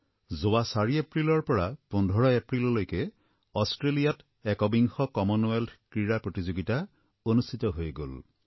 যোৱা ৪ এপ্ৰিলৰ পৰা ১৫ এপ্ৰিললৈকে অষ্ট্ৰেলিয়াত একবিংশ কমনৱেলথ ক্ৰীড়া প্ৰতিযোগিতা অনুষ্ঠিত হৈ গল